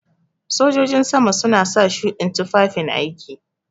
Sojojin sama suna sa shuɗin tufafin aiki.